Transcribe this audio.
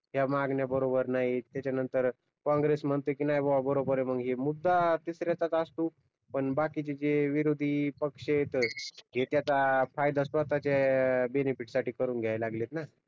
ह्या मागण्या बरोबर नाहीत त्याच्यानंतर काँग्रेस म्हणतय कि नाय बुवा बरोबर आहे मग हे मुद्दा तिसऱ्याचाच असतो पण बाकीचे जे विरोधी पक्षेत ते त्याचा फायदा स्वतःच्या बेनेफिट साठी करून घ्यायला लागलेत ना